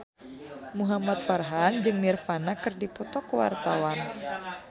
Muhamad Farhan jeung Nirvana keur dipoto ku wartawan